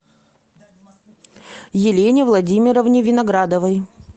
елене владимировне виноградовой